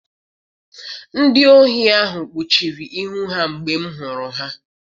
Ndị ohi ahụ kpuchiri ihu ha mgbe m hụrụ ha.